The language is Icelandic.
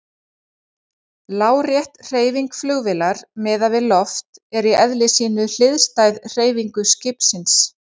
Lárétt hreyfing flugvélar miðað við loft er í eðli sínu hliðstæð hreyfingu skipsins.